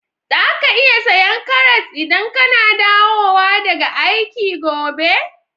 Zaka iya saya karras idan kana dawowa daga aiki gobe?